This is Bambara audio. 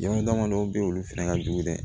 Jama dama dɔw be yen olu fɛnɛ ka jugu dɛ